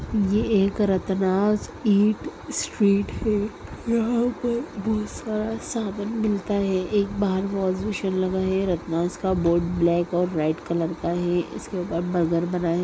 '' ये एक Ratnas eat street है। यहाँ पर बोहोत सारा सामन मिलता है एक बहार वाश बेसिन लगा है रत्नास का बोर्ड ब्लैक और रेड कलर का है इसके ऊपर बर्गर बना है। ''